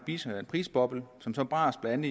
prisboble som så brast blandt